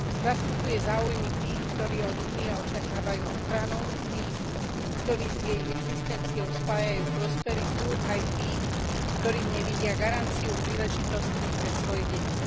Zastupuje záujmy tých, ktorí od Únie očakávajú ochranu, tých, ktorí s jej existenciou spájajú prosperitu, aj tých, ktorí v nej vidia garanciu príležitostí pre svoje deti.